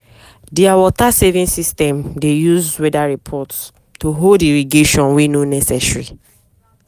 their water-saving system dey use weather report to hold irrigation wey no necessary.